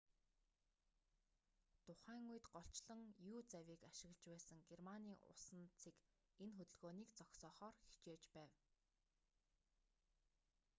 тухайн үед голчлон u-завийг ашиглаж байсан германы усан цэг энэ хөдөлгөөнийг зогсоохоор хичээж байв